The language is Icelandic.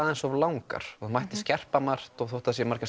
of langar það mætti skerpa margt þótt það séu margar